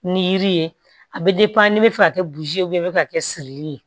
Ni yiri ye a bɛ n'i bɛ fɛ ka kɛ buruzi ye i bɛ fɛ ka kɛ siri ye